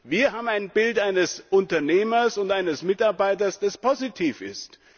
Wir haben ein Bild eines Unternehmers und eines Mitarbeiters, das positiv ist.